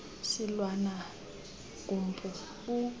silwana gumpu u